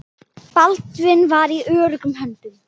Baldvin var í öruggum höndum.